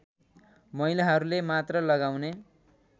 महिलाहरूले मात्र लगाउने